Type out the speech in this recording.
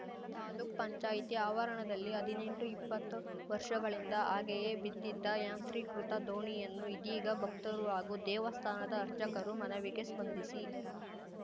ತಾಲೂಕ್ಪಂಚಾಯತಿ ಆವರಣದಲ್ಲಿ ಹದ್ನೆಂಟು ಇಪ್ಪತ್ತು ವರ್ಷಗಳಿಂದ ಹಾಗೆಯೇ ಬಿದ್ದಿದ್ದ ಯಾಂತ್ರೀಕೃತ ದೋಣಿಯನ್ನು ಇದೀಗ ಭಕ್ತರು ಹಾಗೂ ದೇವಸ್ಥಾನದ ಅರ್ಚಕರು ಮನವಿಗೆ ಸ್ಪಂದಿಸಿ